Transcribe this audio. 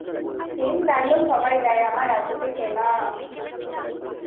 same dialogue সবাই দেয় আমার এততে কেনা